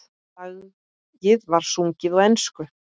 Lagið var sungið á ensku.